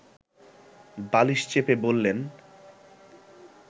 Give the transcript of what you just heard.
বালিশ চেপে বলেন